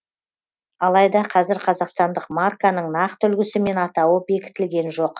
алайда қазір қазақстандық марканың нақты үлгісі мен атауы бекітілген жоқ